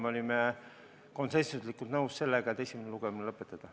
Me olime konsensuslikult nõus sellega, et esimene lugemine lõpetada.